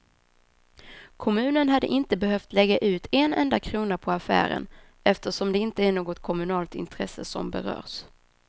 Kommunen hade inte behövt lägga ut en enda krona på affären, eftersom det inte är något kommunalt intresse som berörs.